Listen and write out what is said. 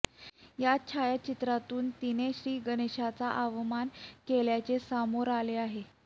या छायाचित्रातून तिने श्री गणेशाचा अवमान केल्याचे समोर आले आहे